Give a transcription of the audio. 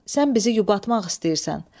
Sən bizi yubatmaq istəyirsən.